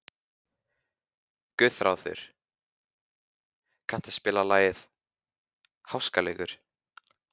Guðráður, kanntu að spila lagið „Háskaleikur“?